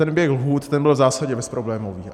Ten běh lhůt byl v zásadě bezproblémový.